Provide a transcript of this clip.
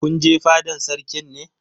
Kun je fadan Sarkin ne?